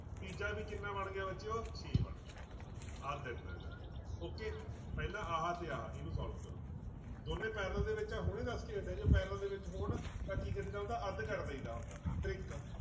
ਤੀਜਾ ਵੀ ਕਿੰਨਾ ਬਣ ਗਿਆ ਬੱਚਿਓ ਛੇ ਬਣ ਗਿਆ ਆਹ ਤਿੰਨ ਹੈਗਾ okay ਪਹਿਲਾਂ ਆਹ ਤੇ ਆਹ ਇਹਨੂੰ solve ਕਰੋ ਦੋਨੇਂ parallel ਦੇ ਵਿੱਚ ਆ ਹੁਣੇ ਦੱਸਕੇ ਹਟਿਆਂ ਜਦੋਂ parallel ਦੇ ਵਿੱਚ ਹੋਣ ਤਾਂ ਕੀ ਕਰੀਦਾ ਹੁੰਦਾ ਅੱਧ ਕਰ ਦੇਈਦਾ ਹੁੰਦਾ trick